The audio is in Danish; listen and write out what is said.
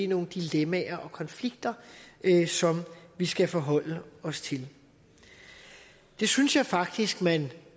nogle dilemmaer og konflikter som vi skal forholde os til det synes jeg faktisk at man